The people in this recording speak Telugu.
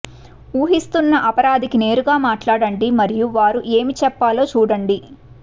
ఊహిస్తున్న అపరాధికి నేరుగా మాట్లాడండి మరియు వారు ఏమి చెప్పాలో చూడండి